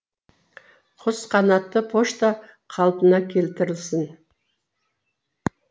құс қанатты пошта қалпына келтірілсін